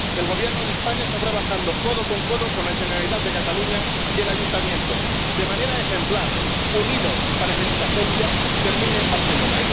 El Gobierno de España está trabajando codo con codo con la Generalitat de Cataluña y el Ayuntamiento, de manera ejemplar, unidos, para que dicha agencia termine en Barcelona.